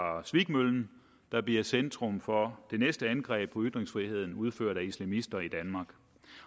svikmøllen der bliver centrum for det næste angreb på ytringsfriheden udført af islamister i danmark